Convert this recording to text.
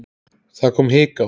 Það kom hik á hann.